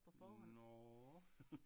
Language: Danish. Nåh